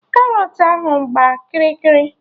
Karọt ahụ gbaa kịrị kịrị